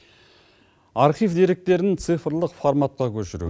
архив деректерін цифрлық форматқа көшіру